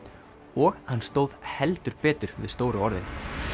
og hann stóð heldur betur við stóru orðin